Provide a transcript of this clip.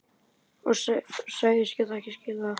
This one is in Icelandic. Og sagðist geta skilið það.